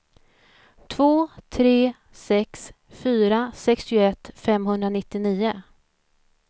två tre sex fyra sextioett femhundranittionio